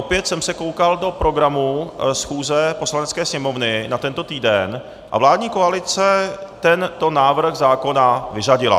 Opět jsem se koukal do programu schůze Poslanecké sněmovny na tento týden a vládní koalice tento návrh zákona vyřadila.